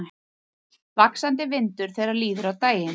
Sé alls ekki fram á að það gerist auðvitað.